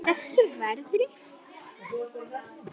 Í þessu veðri?